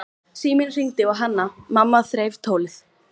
Síminn hringdi og Hanna-Mamma þreif tólið.